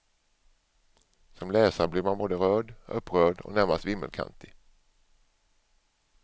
Som läsare blir man både rörd, upprörd och närmast vimmelkantig.